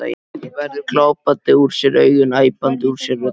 Gerður glápandi úr sér augun, æpandi úr sér röddina.